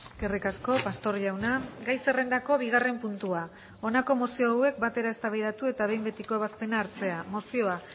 eskerrik asko pastor jauna gai zerrendako bigarren puntua honako mozio hauek batera eztabaidatu eta behin betiko ebazpena hartzea mozioa